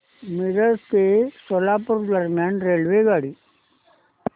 मिरज ते सोलापूर दरम्यान रेल्वेगाडी